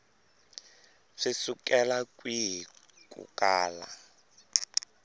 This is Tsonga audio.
swi sukela kwihi ku kala